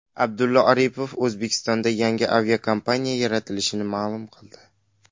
Abdulla Aripov O‘zbekistonda yangi aviakompaniya yaratilishini ma’lum qildi.